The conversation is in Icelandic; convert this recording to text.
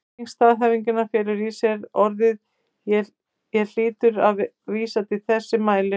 Merking staðhæfingarinnar felur í sér að orðið ég hlýtur að vísa til þess sem mælir.